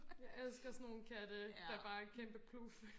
jeg elsker sådan nogle katte der bare er kæmpe pluf